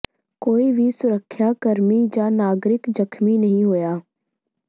ਕੋਈ ਵੀ ਸੁਰੱਖਿਆ ਕਰਮੀ ਜਾਂ ਨਾਗਰਿਕ ਜ਼ਖ਼ਮੀ ਨਹੀਂ ਹੋਇਆ